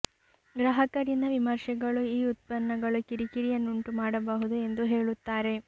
ಗ್ರಾಹಕ ರಿಂದ ವಿಮರ್ಶೆಗಳು ಈ ಉತ್ಪನ್ನಗಳು ಕಿರಿಕಿರಿಯನ್ನು ಉಂಟುಮಾಡಬಹುದು ಎಂದು ಹೇಳುತ್ತಾರೆ